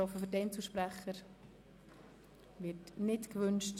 – Es wird ebenfalls nicht gewünscht.